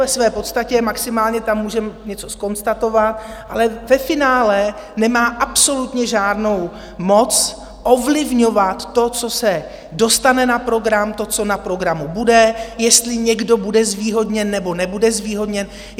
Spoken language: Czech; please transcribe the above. Ve své podstatě maximálně tam může něco zkonstatovat, ale ve finále nemá absolutně žádnou moc ovlivňovat to, co se dostane na program, to, co na programu bude, jestli někdo bude zvýhodněn, nebo nebude zvýhodněn.